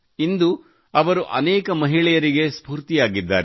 ಇಂದು ಅವರು ಅನೇಕ ಮಹಿಳೆಯರಿಗೆ ಸ್ಫೂರ್ತಿಯಾಗಿದ್ದಾರೆ